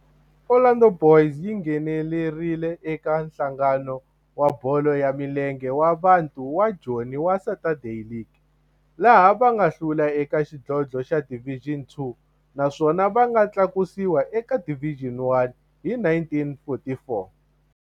Orlando Boys yi nghenelerile eka Nhlangano wa Bolo ya Milenge wa Bantu wa Joni wa Saturday League, laha va nga hlula eka xidlodlo xa Division Two naswona va nga tlakusiwa eka Division One hi 1944.